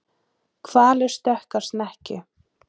Hvalur stökk á snekkju